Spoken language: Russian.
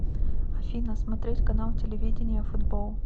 афина смотреть канал телевидения футбол